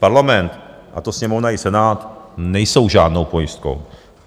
Parlament, a to Sněmovna i Senát, nejsou žádnou pojistkou.